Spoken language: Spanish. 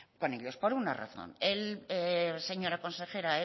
con ellos por una razón señora consejera